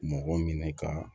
Mɔgɔ minɛ ka